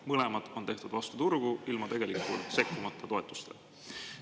Mõlemad on tehtud vastu turgu, ilma tegelikult sekkumata toetustele.